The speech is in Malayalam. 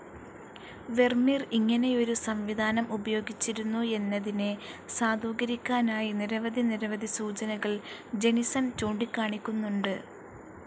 വെർമീർ ഇങ്ങനെയൊരു സംവിധാനം ഉപയോഗിച്ചിരുന്നു എന്നതിനെ സാധൂകരിക്കാനായി നിരവധി നിരവധി സൂചനകൾ ജെനിസൺ ചൂണ്ടിക്കാണിക്കുന്നുണ്ട്.